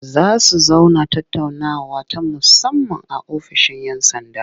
Za su zauna tattaunawa ta musamman a ofishin 'yan sanda.